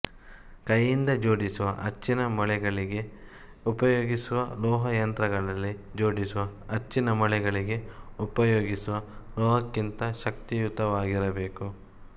ಕೈಯಿಂದ ಜೋಡಿಸುವ ಅಚ್ಚಿನ ಮೊಳೆಗಳಿಗೆ ಉಪಯೋಗಿಸುವ ಲೋಹ ಯಂತ್ರಗಳಲ್ಲಿ ಜೋಡಿಸುವ ಅಚ್ಚಿನ ಮೊಳೆಗಳಿಗೆ ಉಪಯೋಗಿಸುವ ಲೋಹಕ್ಕಿಂತ ಶಕ್ತಿಯುತವಾಗಿರಬೇಕು